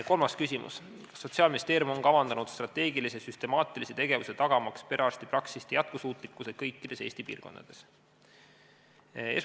Kolmas küsimus: "Kas Sotsiaalministeerium on kavandanud strateegilise süstemaatilise tegevuse tagamaks perearstipraksiste jätkusuutlikkuse kõikides Eesti piirkondades?